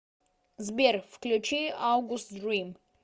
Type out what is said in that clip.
сбер включи аугуст дрим